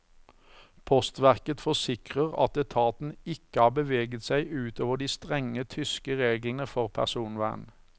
Postverket forsikrer at etaten ikke har beveget seg ut over de strenge tyske reglene for personvern.